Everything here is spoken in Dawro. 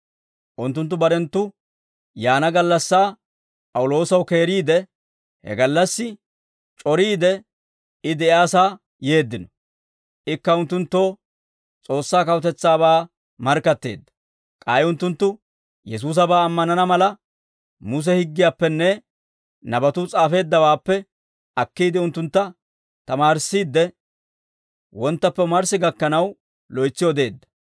Unttunttu barenttu yaana gallassaa P'awuloosaw keeriide, he gallassi c'oriide I de'iyaasaa yeeddino; ikka unttunttoo S'oossaa kawutetsaabaa markkatteedda. K'ay unttunttu Yesuusabaa ammanana mala, Muse higgiyaappenne nabatuu s'aafeeddawaappe akkiide unttuntta tamaarissiidde, wonttappe omarssi gakkanaw loytsi odeedda.